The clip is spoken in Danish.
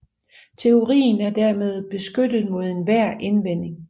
Teorien er dermed beskyttet mod enhver indvending